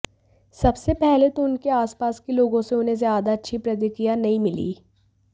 सबसे पहले तो उनके आसपास के लोगों से उन्हें ज्यादा अच्छी प्रतिक्रिया नहीं मिली